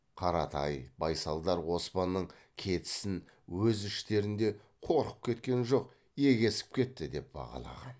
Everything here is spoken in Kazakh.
қаратай байсалдар оспанның кетісін өз іштерінде қорқып кеткен жоқ егесіп кетті деп бағалаған